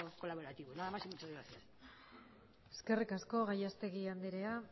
colaborativo nada más y muchas gracias eskerrik asko gallastegui andrea